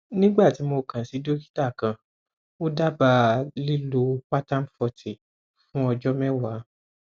nígbà tí mo kàn sí dókítà kan ó dábàá lílo pantapforty fún ọjọ mẹwàá